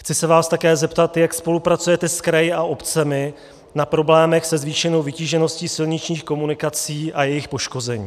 Chci se vás také zeptat, jak spolupracujete s kraji a obcemi na problémech se zvýšenou vytížeností silničních komunikací a jejich poškození.